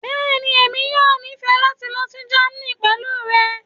bẹẹni, emi yoo nifẹ lati lọ si Germany pẹlu rẹ.